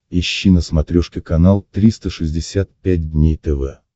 ищи на смотрешке канал триста шестьдесят пять дней тв